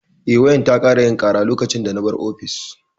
Eh, wayar ta ƙara yin ƙara lokacin da na bar ofis.